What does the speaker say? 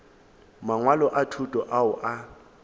mangwalo a thuto ao a